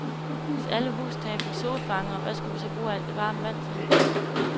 Hvis alle hustage fik solfangere, hvad skulle vi så bruge alt det varme vand til?